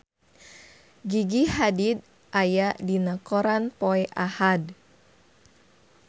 Gigi Hadid aya dina koran poe Ahad